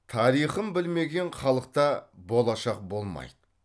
тарихын білмеген халықта болашақ болмайды